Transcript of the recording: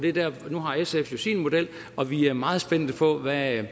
nu har sf jo sin model og vi er meget spændte på at